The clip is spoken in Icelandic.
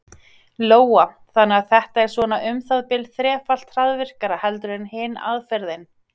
Lóa: Þannig að þetta er svona um það bil þrefalt hraðvirkara heldur en hin aðferðin?